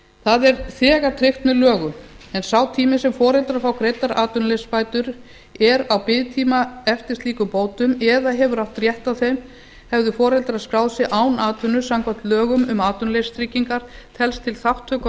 það er þegar tryggt með lögum en sá tími sem foreldrar fá greiddar atvinnuleysisbætur er á biðtíma eftir slíkum bótum eða hefur átt rétt á þeim hefðu foreldrar skráð sig án atvinnu samkvæmt lögum um atvinnuleysistryggingar telst til þátttöku á